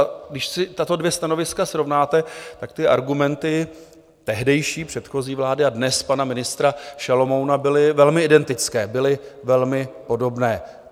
A když si tato dvě stanoviska srovnáte, tak ty argumenty tehdejší, předchozí vlády a dnes pana ministra Šalomouna byly velmi identické, byly velmi podobné.